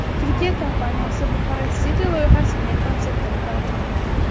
Turkiya kompaniyasi Bukhara City loyihasining konseptini taqdim etdi .